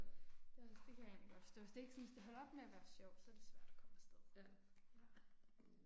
Ja, så det kan jeg egentlig godt forstå så det er ikke sådan hvis det holder op med at være sjovt, så er det svært at komme afsted. Ja